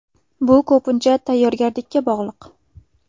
Bu ko‘pincha tayyorgarlikka bog‘liq.